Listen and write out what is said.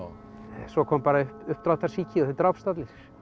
svo kom bara upp uppdráttarsýki og þeir drápust allir